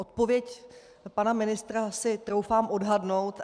Odpověď pana ministra si troufám odhadnout.